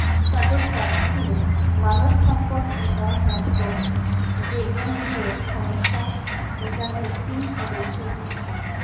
তাদের দাবি ছিল মানবসম্পদ উন্নয়ন মন্ত্রক জেএনইউয়ের সমস্যা মেটাতে তিন সদস্যের উচ্চ